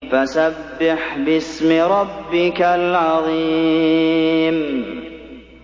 فَسَبِّحْ بِاسْمِ رَبِّكَ الْعَظِيمِ